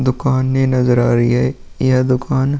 दुकाने नजर आ रही हैं। यह दुकान --